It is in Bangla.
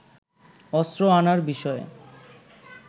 অস্ত্র আনার বিষয়ে